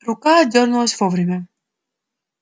рука отдёрнулась вовремя